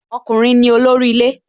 Ọkùnrin ni olórí ilé